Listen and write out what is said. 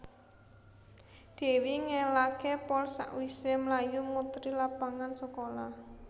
Dewi ngelake pol sakwise mlayu muteri lapangan sekolah